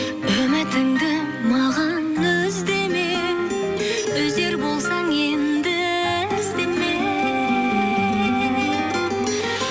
үмітімді маған үз деме үзер болсаң енді іздеме